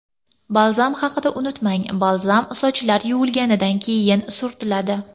Balzam haqida unutmang Balzam sochlar yuvilganidan keyin surtiladi.